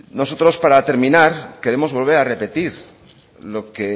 nosotros para terminar queremos volver a repetir lo que el